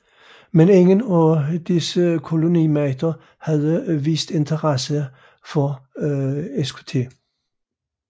Men ingen af disse kolonimagter havde vist interesse for Skt